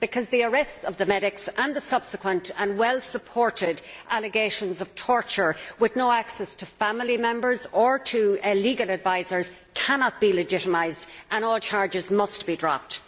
The arrests of the medics and the subsequent and well supported allegations of torture, with no access to family members or to legal advisers, cannot be legitimised, and all charges must be dropped.